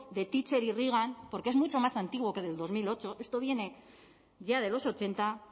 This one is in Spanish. de thatcher y reagan porque es mucho más antiguo que del dos mil ocho esto viene ya de los ochenta